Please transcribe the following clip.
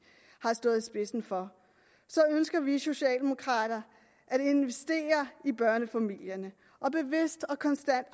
har stået i spidsen for ønsker vi socialdemokrater at investere i børnefamilierne og bevidst og konstant